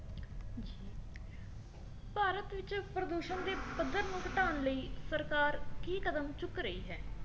ਪ੍ਰਦੂਸ਼ਣ ਦੇ ਪੱਧਰ ਨੂੰ ਘਟਾਉਣ ਲਈ ਸਰਕਾਰ ਕੀ ਕਦਮ ਚੁੱਕ ਰਹੀ ਹੈ